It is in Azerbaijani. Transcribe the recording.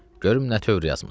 Görüm nə tövr yazmısan.